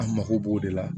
An mako b'o de la